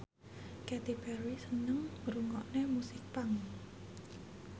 Katy Perry seneng ngrungokne musik punk